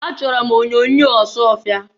Achọrọ m onyoonyo Ọsụọfịa.